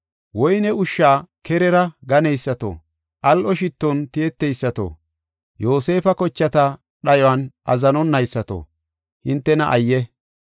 woyney ushsha kerera ganeysato, al7o shitton tiyeteysato, Yoosefa kochata dhayuwan azzanonaysato, hintena ayye!